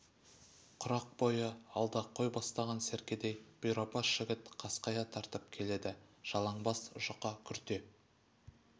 құрық бойы алда қой бастаған серкедей бұйрабас жігіт қасқая тартып келеді жалаң бас жұқа күрте